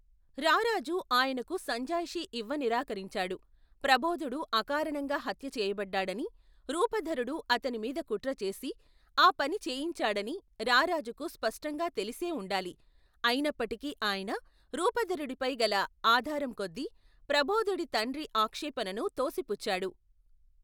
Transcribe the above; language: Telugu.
రారాజు ఆయనకు సంజాయిషీ ఇవ్వనిరాకరించాడు, ప్రబోధుడు అకారణంగా హత్యచేయబడ్డాడనీ, రూపధరుడు అతని మీద కుట్రచేసి, ఆ పని చేయించాడనీ, రారాజుకు స్పష్టంగా తెలిసే ఉండాలి, అయినప్పటికీ ఆయన రూపధరుడిపై గల ఆదారంకొద్ది, ప్రబోధుడి తండ్రి ఆక్షేపణను తోసిపుచ్చాడు.